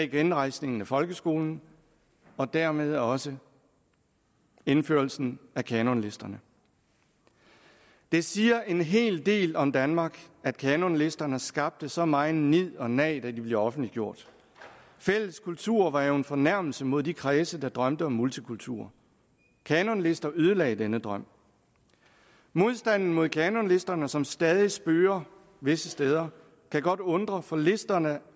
genrejsningen af folkeskolen og dermed også indførelsen af kanonlisterne det siger en hel del om danmark at kanonlisterne skabte så megen nid og nag da de blev offentliggjort fælles kultur var jo en fornærmelse mod de kredse der drømte om multikultur kanonlister ødelagde denne drøm modstanden mod kanonlisterne som stadig spøger visse steder kan godt undre for listerne